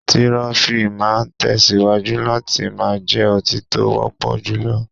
Tirọfi máa tẹ̀síwájú láti máa jẹ́ ọtí tó wọ́pọ̀ jùlọ.